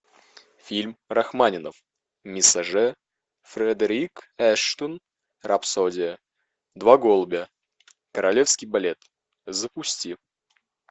фильм рахманинов мессаже фредерик эштон рапсодия два голубя королевский балет запусти